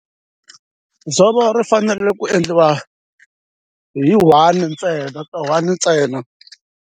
Dzovo ri fanele ku endliwa hi one ntsena ka one ntsena.